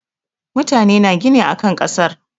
Mutane na gina akan kasar.